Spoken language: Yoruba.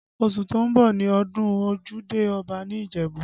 Oṣù tó ń bọ̀ ni ọdún ojúde Ọba ní Ìjẹ̀bú